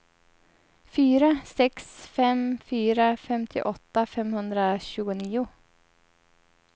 fyra sex fem fyra femtioåtta femhundratjugonio